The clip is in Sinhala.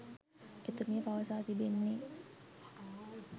එතුමිය පවසා තිබෙන්නේ